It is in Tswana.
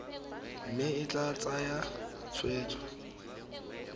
mme e tla tsaya tshwetso